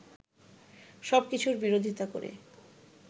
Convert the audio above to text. সবকিছুর বিরোধীতা করে